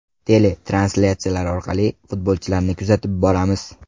Tele-translyatsiyalar orqali futbolchilarni kuzatib boramiz.